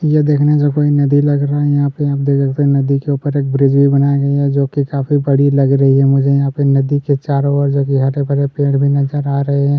ये देखने से कोई नदी लग रहा है यहाँ पे आप देख सकते है नदी के ऊपर एक ब्रिज भी बनाया गया है जोकि काफ़ी बड़ी लग रही है मुझे यहाँ पे नदी के चारों ओर हरे-भरे पेड़ भी नजर आ रहै हैं।